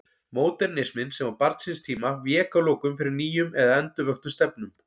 Módernisminn, sem var barn síns tíma, vék að lokum fyrir nýjum eða endurvöktum stefnum.